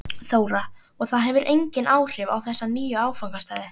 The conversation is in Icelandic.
Þóra: Og það hefur engin áhrif á þessa nýju áfangastaði?